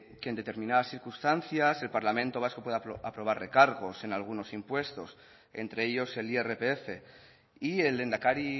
que en determinadas circunstancias el parlamento vasco puede aprobar recargos en algunos impuestos entre ellos el irpf y el lehendakari